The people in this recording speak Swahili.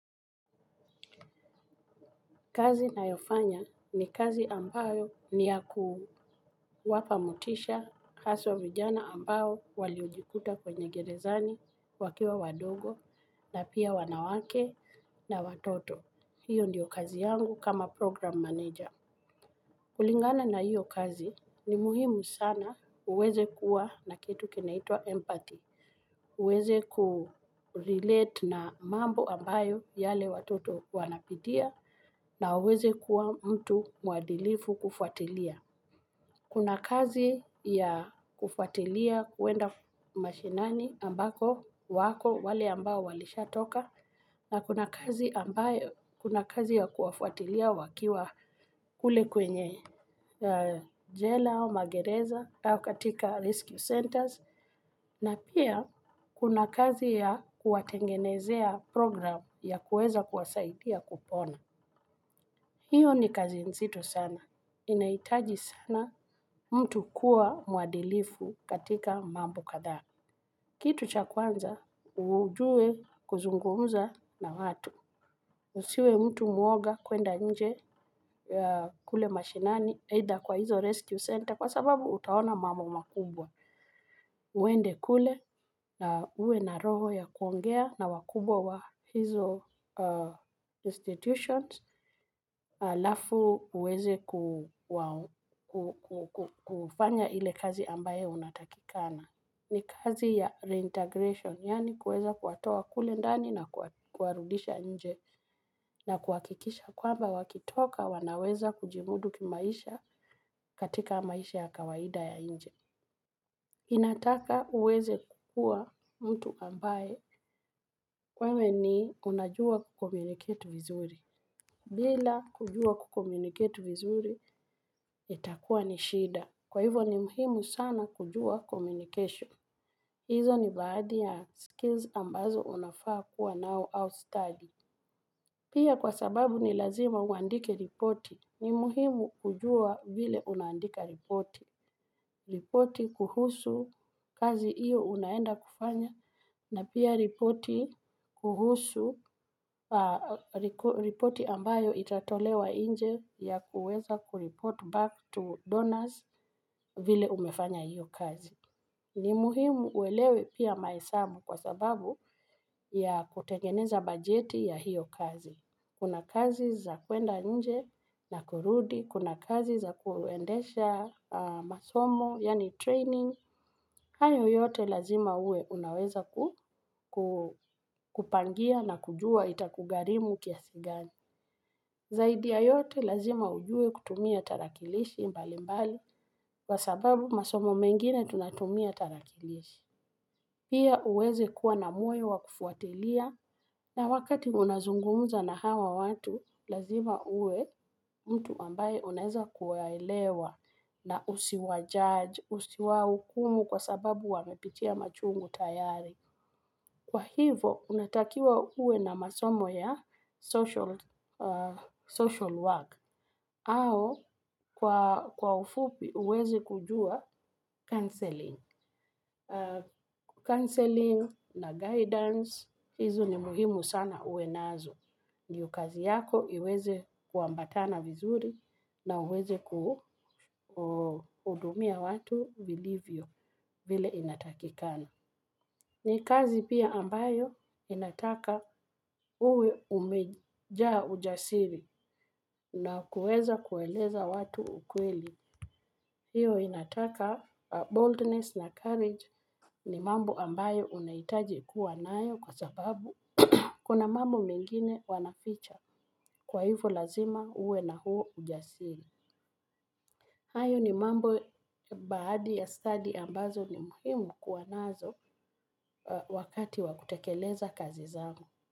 Kazi na yofanya ni kazi ambayo ni ya kuwapa motisha haswa vijana ambao waliojikuta kwenye gerezani, wakiwa wadogo, na pia wanawake na watoto. Hiyo ndiyo kazi yangu kama program manager. Kulingana na hiyo kazi ni muhimu sana uweze kuwa na kitu kinaitwa empathy. Uweze kurelate na mambo ambayo yale watoto wanapitia na uweze kuwa mtu muadilifu kufuatilia. Kuna kazi ya kufuatilia kuenda mashinani ambako wako wale ambao walisha toka. Na kuna kazi ambayo kuna kazi ya kuwafuatilia wakiwa kule kwenye jela au magereza au katika rescue centers. Na pia kuna kazi ya kuwatengenezea program ya kuweza kuwasaidia kupona. Hiyo ni kazi nzito sana. Inaitaji sana mtu kuwa mwadilifu katika mambo kadhaa. Kitu cha kwanza, ujue kuzungumza na watu. Usiwe mtu muoga kuenda nje yaa kule mashinani, either kwa hizo rescue center, kwa sababu utaona mambo makubwa. Uende kule na uwe na roho ya kuongea na wakubwa wa hizo institutions alafu uweze kuwao ku ku ku kufanya ile kazi ambayo unatakikana. Ni kazi ya reintegration, yaani kuweza kuwatoa kule ndani na kuwarudisha nje na kuhakikisha kwamba wakitoka wanaweza kujimudu kimaisha katika maisha ya kawaida ya nje. Inataka uweze kukua mtu ambaye wewe ni unajua kukomuniket vizuri. Bila kujua kucommunicate vizuri itakua ni shida. Kwa hivo ni muhimu sana kujua communication. Izo ni baadhi ya skills ambazo unafaa kuwa nao au stadi. Pia kwa sababu ni lazima uandike ripoti. Ni muhimu kujua vile unaandika ripoti. Ripoti kuhusu kazi hiyo unaenda kufanya na pia ripoti ripoti ambayo itatolewa inje ya kuweza kureport back to donors vile umefanya hiyo kazi. Ni muhimu uelewe pia maesamu kwa sababu ya kutengeneza bajeti ya hiyo kazi. Kuna kazi za kwenda nje na kurudi, kuna kazi za kuendesha masomo, yaani training, hayo yote lazima uwe unaweza kupangia na kujua itakugharimu kiasi gani. Zaidi ya yote lazima ujue kutumia tarakilishi mbali mbali, kwasababu masomo mengine tunatumia tarakilishi. Pia uweze kuwa na moyo wa kufuatilia na wakati unazungumza na hawa watu lazima uwe mtu ambaye unaeza kuwaelewa na usiwa judge, usiwa hukumu kwa sababu wamepitia machungu tayari. Kwa hivo, unatakiwa uwe na masomo ya social work. Au, kwa ufupi, uweze kujua counselling. Counselling na guidance hizo ni muhimu sana uwe nazo. Ndio kazi yako, iweze kuambatana vizuri na uweze kuhudumia watu vilivyo, vile inatakikana. Ni kazi pia ambayo inataka uwe umejaa ujasiri na kuweza kueleza watu ukweli. Hiyo inataka boldness na courage ni mambo ambayo unahitaji kuwa nayo kwa sababu kuna mengine wanaficha kwa ivo lazima uwe na huo ujasiri. Hayo ni mambo baadhi ya stadi ambazo ni muhimu kuwa nazo wakati wa kutekeleza kazi zao.